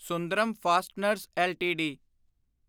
Sundaram fasteners LTD